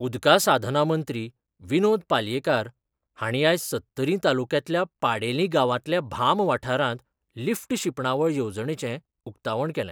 उदका साधना मंत्री विनोद पालयेकार हांणी आयज सत्तरी तालुक्यांतल्या पाडेली गांवांतल्या भाम वाठारांत लिफ्ट शिंपणावळ येवजणेचे उकतावण केलें.